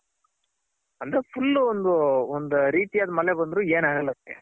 ಅಂದ್ರೆ full ಒಂದ್ ರೀತಿ ಆದ್ ಮಳೆ ಬಂದ್ರು ಏನಾಗಲ್ಲ ಅದಕ್ಕೆ.